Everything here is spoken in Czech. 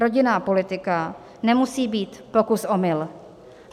Rodinná politika nemusí být pokus-omyl.